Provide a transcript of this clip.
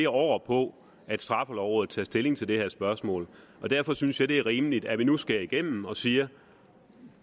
år på at straffelovrådet tager stilling til det her spørgsmål derfor synes jeg at det er rimeligt at vi nu skærer igennem og siger